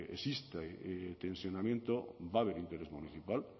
existe tensionamiento va a haber interés municipal